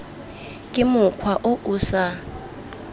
ke mokgwa o o sa